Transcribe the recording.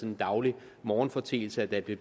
en daglig morgenforeteelse at der blev